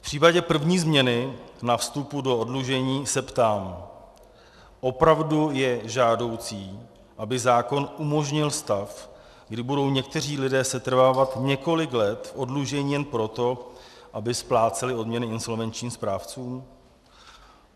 V případě první změny na vstupu do oddlužení se ptám: opravdu je žádoucí, aby zákon umožnil stav, kdy budou někteří lidé setrvávat několik let v oddlužení jen proto, aby spláceli odměny insolvenčním správcům?